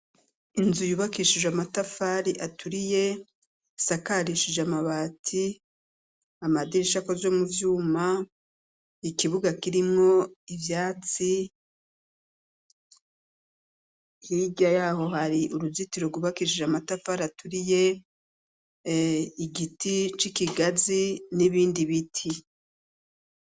Inzu yubakishije amatafari aturiye isakarishije amabati amadirisha akoze muvyuma ikibuga kirimwo ivyatsi Hirya yaho hari uruzitiro rwubakishije amatafari aturiye igiti cikigazi nibindi biti.